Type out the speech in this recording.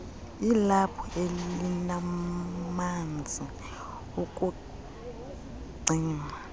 ilaphu elimanzi ukucima